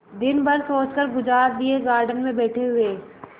दिन भर सोचकर गुजार दिएगार्डन में बैठे हुए